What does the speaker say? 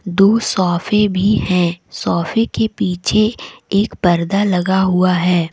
दो सोफे भी हैं सोफे के पीछे एक पर्दा लगा हुआ है।